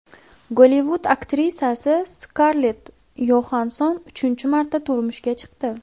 Gollivud aktrisasi Skarlett Yoxansson uchinchi marta turmushga chiqdi.